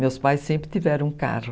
Meus pais sempre tiveram um carro.